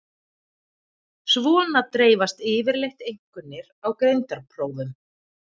Svona dreifast yfirleitt einkunnir á greindarprófum.